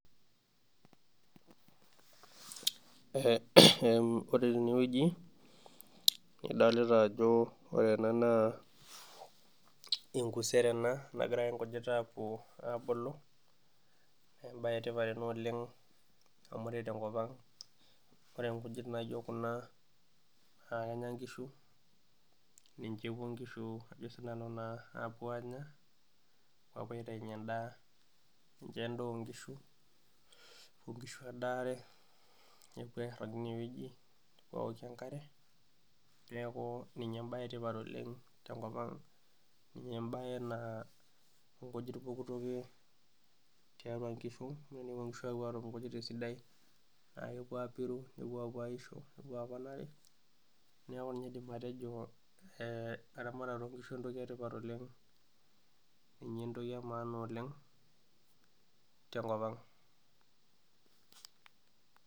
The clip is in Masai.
Ore tenewueji idolita ajo wore ena naa enkusero ena nagira nkujit aapulu, naa embae etipat oleng amu ore tenkopang nkujit naijo Kuna naa ekenya nkishu ,ninye epuo nkishu aanya apuo aitainyie endaa, ninye endaa onkishu, nepuo airag tineweji nokie enkare neeku ninye embae etipat oleng tenkopang, ninye embae naa nkujit pooki toki tiatua nkishu, tenepuo nkishu apuo atum nkujit esidai naa kepuo aapiru nepuo apuo aisho nepuo apuo aaponari ,neeku ninye aidim atejo eramaatare oonkishu entoki etipat oleng ,ninye entoki emaana oleng tenkopang.